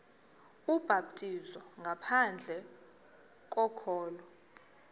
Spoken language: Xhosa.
ubhaptizo ngaphandle kokholo